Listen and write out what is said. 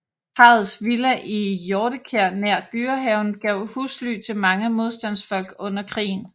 Parrets villa i Hjortekær nær Dyrehaven gav husly til mange modstandsfolk under krigen